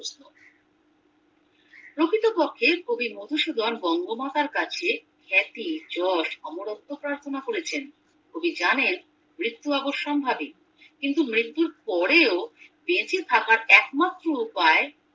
প্রকৃতপক্ষে কবি মধুসুধন বঙ্গমাতার কাছে খ্যাতি জোস্ অমরত্ব প্রার্থনা করেছেন কবি জানেন মৃর্ত্যু অবসম্ভাবী কিন্তু মৃত্যুর পরেও বেঁচে থাকার একমাত্র উপায়